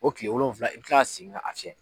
O kile wolonwila i kan ka segin k'a fiyɛ